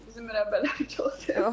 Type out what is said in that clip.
Bizim mürəbbələri çox sevir.